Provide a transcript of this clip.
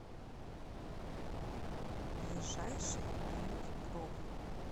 ближайший бьюти проф